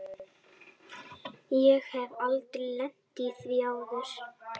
Ég hef aldrei lent í því áður.